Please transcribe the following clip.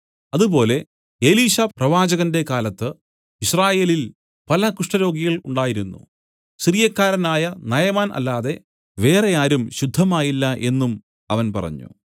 അതുപോലെ എലീശാപ്രവാചകന്റെ കാലത്ത് യിസ്രായേലിൽ പല കുഷ്ഠരോഗികൾ ഉണ്ടായിരുന്നു സിറിയക്കാരനായ നയമാൻ അല്ലാതെ വേറെ ആരും ശുദ്ധമായില്ല എന്നും അവൻ പറഞ്ഞു